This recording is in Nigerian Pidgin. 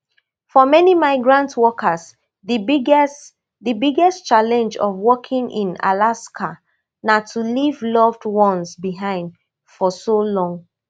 for many migrant workers di biggest di biggest challenge of working in alaska na to leave loved ones behind for so long